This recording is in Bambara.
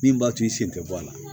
Min b'a to i sen tɛ bɔ a la